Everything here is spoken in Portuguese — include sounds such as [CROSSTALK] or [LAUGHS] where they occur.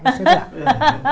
É verdade. [LAUGHS]